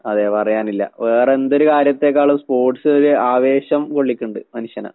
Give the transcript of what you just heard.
അതെ പറയാനില്ല. വേറെന്തൊരു കാര്യത്തേക്കാളും സ്‌പോർട്സൊര് ആവേശം കൊള്ളിക്കിണ്ട് മനുഷ്യനെ.